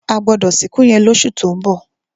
A gbọdọ sin òkú yẹn lọṣu tó ń bọ̀.